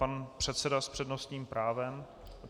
Pan předseda s přednostním právem.